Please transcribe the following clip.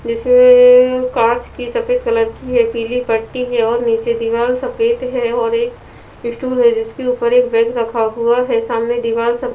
जिसमेंअ कांच की सफेद कलर की है पीली पट्टी है और नीचे दिवाल सफेद है और एक स्टूल है जिसके ऊपर एक बैग रखा हुआ है सामने दीवार सफ--